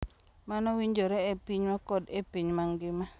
Mano winjore e pinywa kod e piny mangima,